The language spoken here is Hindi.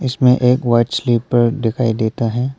इसमें एक वाइट स्लीपर दिखाई देता है।